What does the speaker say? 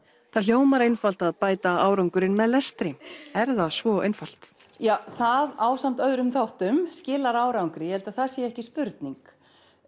það hljómar einfalt að bæta árangurinn með lestri er það svo einfalt já það ásamt öðrum þáttum skilar árangri ég held að það sé ekki spurning